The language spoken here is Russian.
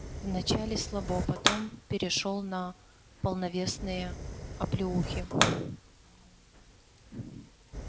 вначале слабо потом перешёл на полновесные оплеухи